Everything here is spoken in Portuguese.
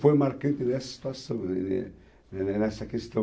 Foi marcante nessa situação, nessa questão.